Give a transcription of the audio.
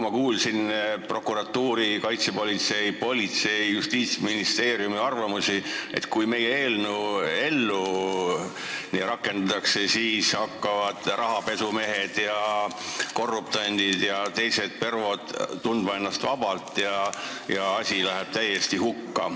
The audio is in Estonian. Ma kuulsin õiguskomisjonis prokuratuuri, kaitsepolitsei, politsei ja Justiitsministeeriumi arvamusi, et kui see meie eelnõu ellu rakendatakse, siis hakkavad rahapesumehed, korruptandid ja teised pervod ennast vabalt tundma ja asi läheb täiesti hukka.